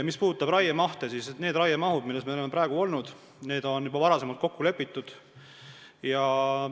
Mis puudutab raiemahte, siis need mahud, mis meil praegu on olnud, on juba varem kokku lepitud.